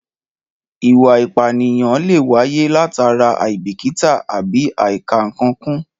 Ìwà ìpànìyàn lè wáyé látara àìbíkítà àbí àìkà-ǹkan kún